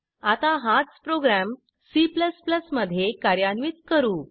आता हाच program C मध्ये कार्यान्वित करू